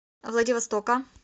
владивостока